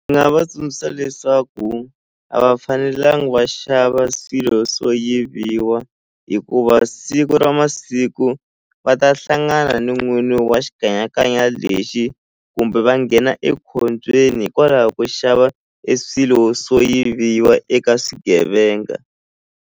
Ndzi nga va tsundzuxa leswaku a va fanelangi va xava swilo swo yiviwa hikuva siku ra masiku va ta hlangana ni n'wini wa xikanyakanya lexi kumbe va nghena ekhombyeni hikwalaho ko xava e swilo swo yiviwa eka swigevenga.